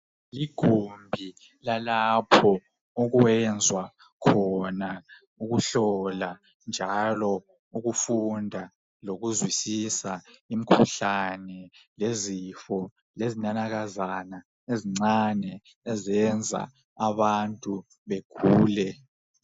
Likhona igumbi lalapho okwenzwa khona izinto ezinengi ezempilakahle. Lapha kuyahlolwa kufundiswane ngemikhuhlane lamagcikwane lokuthi singazivike kanjani kuwo.